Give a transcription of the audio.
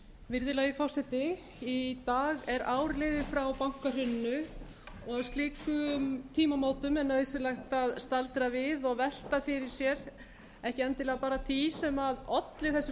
virðulegi forseti í dag er ár liðið frá bankahruninu og á slíkum tímamótum er nauðsynlegt að staldra við og velta fyrir sér ekki endilega bara því sem olli þessu